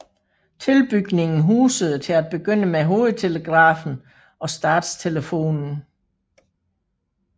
Tilbygningen husede til at begynde med Hovedtelegrafen og Statstelefonen